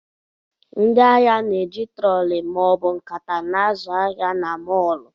Ndị ahịa na na-eji trọọli ma ọ bụ nkata na-azụ ahịa na mọọlụ.